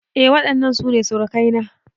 Eh waɗannan su ne surukai na